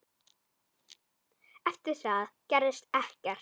Eftir það gerðist ekkert.